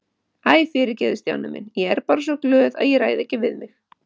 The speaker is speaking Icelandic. Æ, fyrirgefðu Stjáni minn, ég er bara svo glöð að ég ræð ekki við mig